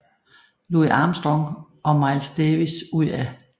Louis Armstrong og Miles Davis ud af